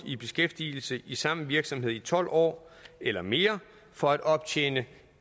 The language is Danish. i beskæftigelse i samme virksomhed i tolv år eller mere for at optjene